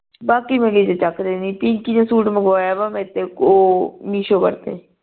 ਬਾਕੀ ਮੇਰ ਚੱਕਦੇ ਨੀ ਪਿੰਕੀ ਦਾ ਸੂਟ ਮੰਗਵਾਯਾ ਵਾ ਮੇਰੇਤੇ ਓ ਮੀਸ਼ੋ ਕਰਕੇ